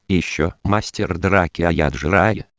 ещё мастер драки